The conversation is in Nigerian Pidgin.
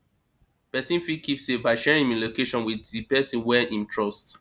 person fit keep safe by sharing im location with di person wey im trust